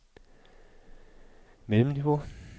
mellemniveau